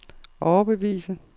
overbevise